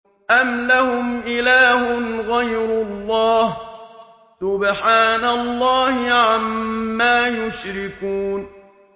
أَمْ لَهُمْ إِلَٰهٌ غَيْرُ اللَّهِ ۚ سُبْحَانَ اللَّهِ عَمَّا يُشْرِكُونَ